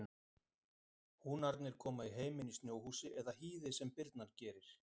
Húnarnir koma í heiminn í snjóhúsi eða hýði sem birnan gerir.